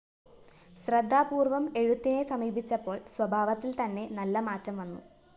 ശ്രദ്ധാപൂര്‍വ്വം എഴുത്തിനെ സമീപിച്ചപ്പോള്‍ സ്വഭാവത്തില്‍ തന്നെ നല്ല മാറ്റം വന്നു